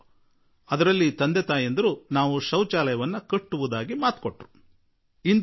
ಒಂದು ನಿಗದಿತ ದಿನಾಂಕದ ವೇಳೆಗೆ ಶೌಚೌಲಯವನ್ನು ಕಟ್ಟುತ್ತೇವೆ ಎಂದು ಆ ಪತ್ರದಲ್ಲಿ ತಂದೆ ತಾಯಿಗಳು ಭರವಸೆ ನೀಡಿದ್ದರು